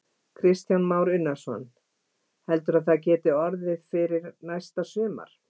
Kristján Már Unnarsson: Heldurðu að það geti orðið fyrir næsta sumar?